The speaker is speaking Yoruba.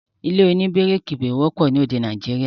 ilé òní bíríkì kò wọ́pọ̀ ni orílè-èdè Nàìjíríà